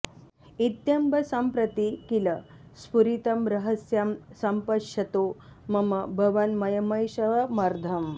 इत्यम्ब सम्प्रति किल स्फुरितं रहस्यं सम्पश्यतो मम भवन्मयमैशमर्धम्